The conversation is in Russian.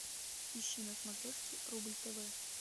ищи на смотрешке рубль тв